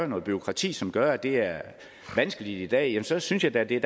noget bureaukrati som gør at det er vanskeligt i dag så synes jeg da at det